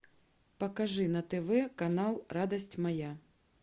покажи на тв канал радость моя